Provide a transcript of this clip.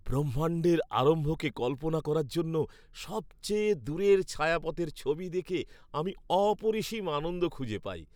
ব্রহ্মাণ্ডের আরম্ভকে কল্পনা করার জন্য সবচেয়ে দূরের ছায়াপথের ছবি দেখে আমি অপরিসীম আনন্দ খুঁজে পাই।